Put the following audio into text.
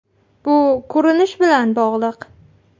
Bu ko‘rinish bilan bog‘liq.